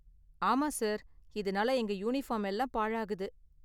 ஆமா சார், இதனால எங்க யூனிஃபார்ம் எல்லாம் பாழாகுது.